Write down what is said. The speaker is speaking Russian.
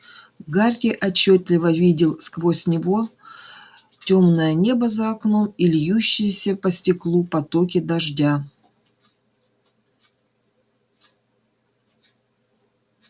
гарри отчётливо видел сквозь него тёмное небо за окном и льющиеся по стеклу потоки дождя